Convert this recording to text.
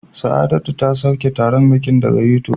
Saidatu ta sauke taron bikin daga YouTube